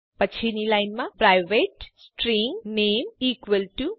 પછીની લાઈનમાં private string નામે Raju